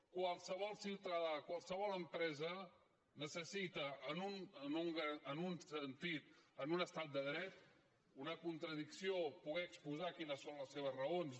qualsevol ciutadà qualsevol empresa necessita en un estat de dret una contradicció poder exposar quines són les seves raons